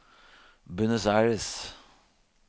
Buenos Aires